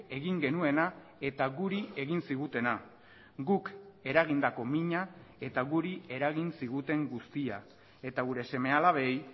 egin genuena eta guri egin zigutena guk eragindako mina eta guri eragin ziguten guztia eta gure seme alabei